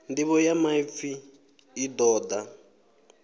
nḓivho ya maipfi i ṱoḓa